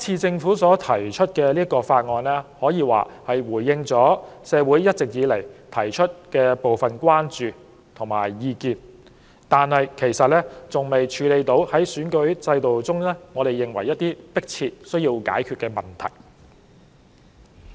政府提出《條例草案》，雖可謂回應了社會一直提出的部分關注和意見，但仍未能處理選舉制度中一些我們認為迫切、有需要解決的問題。